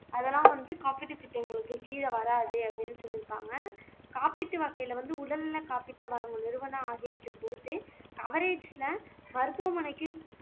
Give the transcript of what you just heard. அதெல்லாம் வந்து காப்பீட்டு திட்டங்களுக்கு கீழ வராது அப்படின்னு சொல்லி இருக்காங்க காப்பீட்டு வகையில வந்து உடல்நல காப்பீட்டு வழங்கும் நிறுவனம் ஆகியவற்றைப் பொறுத்து கவரேஜ்ல மருத்துவமனைக்கு